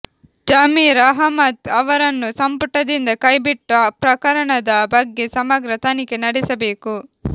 ಜಮೀರ್ ಅಹ್ಮದ್ ಅವರನ್ನು ಸಂಪುಟದಿಂದ ಕೈಬಿಟ್ಟು ಪ್ರಕರಣದ ಬಗ್ಗೆ ಸಮಗ್ರ ತನಿಖೆ ನಡೆಸಬೇಕು